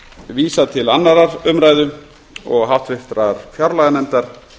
vísað til annarrar umræðu og háttvirtrar fjárlaganefndar